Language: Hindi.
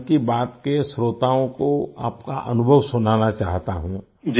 मैं मन की बात के श्रोताओं को आपका अनुभव सुनाना चाहता हूँ